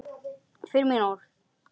Fyrir mín orð.